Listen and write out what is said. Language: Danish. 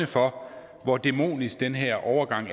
for hvor demonisk den her overgang